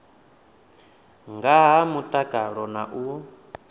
nga ha mutakalo na u